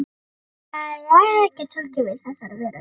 Það er ekkert sjálfgefið í þessari veröld.